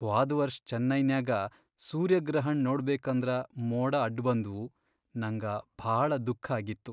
ಹ್ವಾದ್ ವರ್ಷ್ ಚೆನ್ನೈನ್ಯಾಗ ಸೂರ್ಯಗ್ರಹಣ್ ನೋಡ್ಬೇಕಂದ್ರ ಮೋಡ ಅಡ್ಬಂದ್ವು ನಂಗ ಭಾಳ ದುಃಖ್ಖಾಗಿತ್ತು.